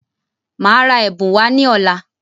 Máa ra ẹ̀bùn wá ní ọ̀la.